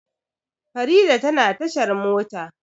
Farida tana tashar mota.